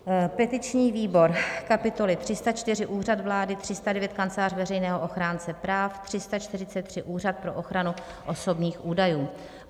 petiční výbor: kapitoly 304 - Úřad vlády, 309 - Kancelář Veřejného ochránce práv, 343 - Úřad pro ochranu osobních údajů,